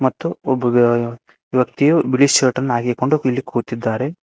ಮತ್ತು ಒಬ್ಬ ವ್ಯ ವ್ಯಕ್ತಿಯು ಬಿಳಿ ಶರ್ಟನ್ನು ಹಾಕಿಕೊಂಡು ಇಲ್ಲಿ ಕುಳಿತಿದ್ದಾರೆ.